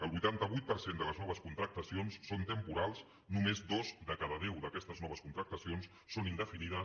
el vuitanta vuit per cent de les noves contractacions són temporals només dues de cada deu d’aquestes noves contractacions són indefinides